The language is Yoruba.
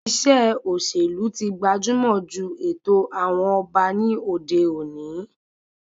Ìṣe òṣèlú tí gbajumọ ju ètò àwọn ọba ní òde òni